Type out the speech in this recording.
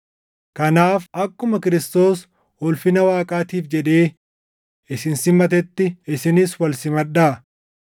Kanaaf akkuma Kiristoos ulfina Waaqaatiif jedhee isin simatetti isinis wal simadhaa.